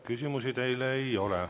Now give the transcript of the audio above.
Küsimusi teile ei ole.